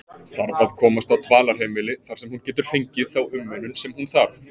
Þarf að komast á dvalarheimili þar sem hún getur fengið þá umönnun sem hún þarf.